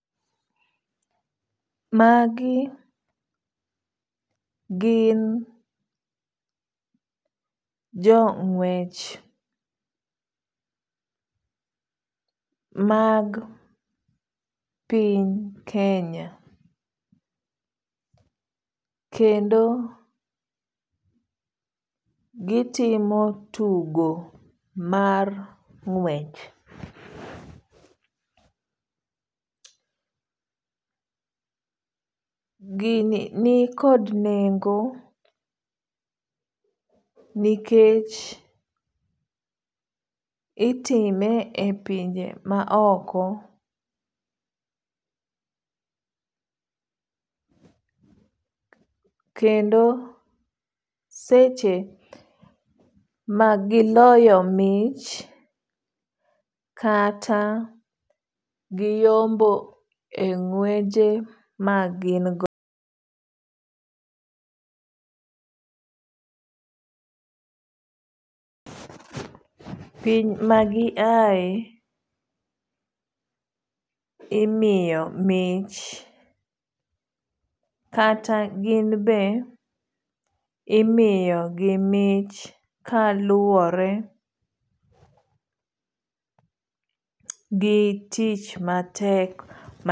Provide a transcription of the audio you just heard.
Magi gin jo ng'wech mag piny Kenya. Kenndo gitimo tugo mar ng'wech. Gini ni kod nengo nikech itime e pinje ma oko. Kendo seche ma giloyo mich kata giyombo e gweje ma gin go. [pause)Piny ma gi ae imiyo mich. Kata gin be imiyo gi mich kaluwore gi tich matek.